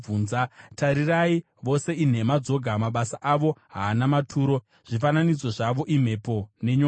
Tarirai, vose inhema dzoga! Mabasa avo haana maturo; zvifananidzo zvavo imhepo nenyonganiso.